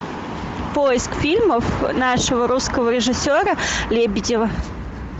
поиск фильмов нашего русского режиссера лебедева